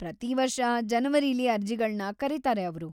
ಪ್ರತೀ ವರ್ಷ ಜನವರಿಲಿ ಅರ್ಜಿಗಳ್ನ ಕರೀತಾರೆ ಅವ್ರು.